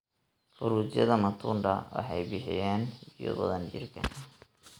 Fruityada matunda waxay bixinayaan biyo badan jirka.